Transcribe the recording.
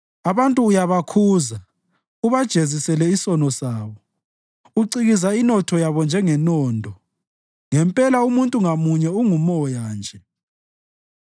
Abantu uyabakhuza ubajezisele isono sabo; ucikiza inotho yabo njengenondo ngempela umuntu ngamunye ungumoya nje.